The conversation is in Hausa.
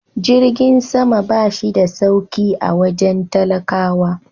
Jirgin sama ba shi da sauki a wajen talakawa.